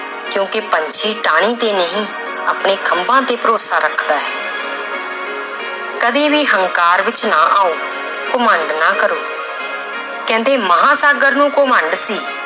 ਕਿਉਂਕਿ ਪੰਛੀ ਟਾਹਣੀ ਤੇ ਨਹੀਂ ਆਪਣੇ ਖੰਭਾਂ ਤੇ ਭਰੋਸਾ ਰੱਖਦਾ ਹੈ ਕਦੇ ਵੀ ਹੰਕਾਰ ਵਿੱਚ ਨਾ ਆਓ ਘਮੰਡ ਨਾ ਕਰੋ ਕਹਿੰਦੇ ਮਹਾਂਸਾਗਰ ਨੂੰ ਘਮੰਡ ਸੀ